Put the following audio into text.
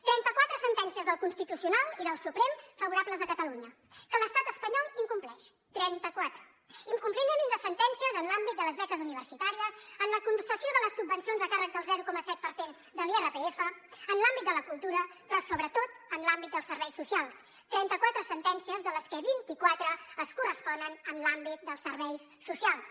trenta quatre sentències del constitucional i del suprem favorables a catalunya que l’estat espanyol incompleix trenta quatre incompliment de sentències en l’àmbit de les beques universitàries en la concessió de les subvencions a càrrec del zero coma set per cent de l’irpf en l’àmbit de la cultura però sobretot en l’àmbit dels serveis socials trenta quatre sentències de les que vint iquatre corresponen a l’àmbit dels serveis socials